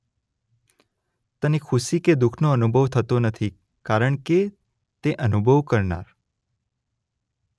તેને ખુશી કે દુઃખનો અનુભવ થતો નથી કારણ કે તે અનુભવ કરનાર